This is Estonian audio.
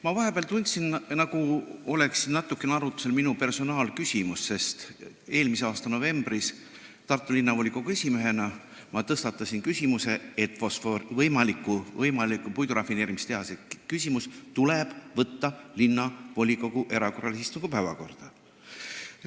Ma vahepeal tundsin, nagu oleks siin natukene arutlusel ka minu personaalküsimus, sest eelmise aasta novembris Tartu Linnavolikogu esimehena ma tõstatasin teema, et võimaliku puidurafineerimistehase küsimus tuleb võtta linnavolikogu erakorralise istungi päevakorda.